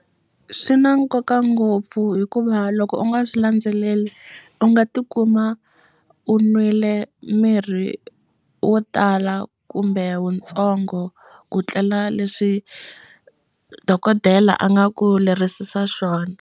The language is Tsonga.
Swi na nkoka ngopfu hikuva loko u nga swi landzeleli u nga tikuma u n'wile mirhi wo tala kumbe wutsongo ku tlela leswi dokodela a nga ku lerisisa swona.